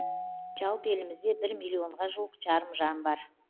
жалпы елімізде бір миллионға жуық жарым жан бар